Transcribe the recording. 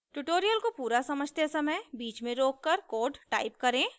tutorial को पूरा समझते समय बीच में रोककर कोड टाइप करें